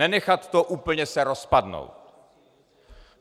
Nenechat to úplně se rozpadnout.